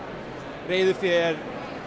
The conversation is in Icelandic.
reiðufé er